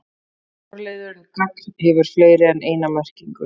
Forliðurinn gagn- hefur fleiri en eina merkingu.